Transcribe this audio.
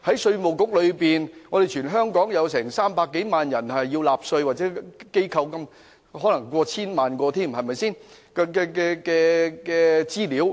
稅務局持有全港300多萬名納稅人的資料，亦有成千上萬間需納稅的機構的資料。